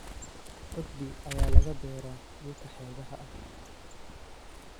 Cudbi ayaa laga beeraa dhulka xeebaha ah.